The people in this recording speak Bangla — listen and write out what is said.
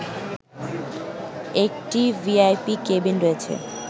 একটি ভিআইপি কেবিন রয়েছে